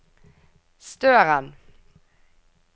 Støren